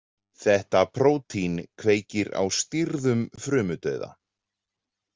Þetta prótín kveikir á stýrðum frumudauða.